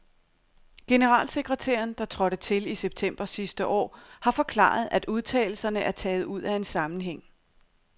Generalsekretæren, der trådte til i september sidste år, har forklaret, at udtalelserne er taget ud af en sammenhæng.